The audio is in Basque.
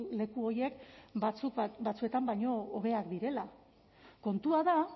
leku horiek batzuk batzuetan baino hobeak direla kontua da